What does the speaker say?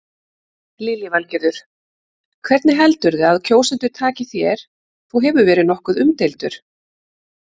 Lillý Valgerður: Hvernig heldurðu að kjósendur taki þér, þú hefur verið nokkuð umdeildur?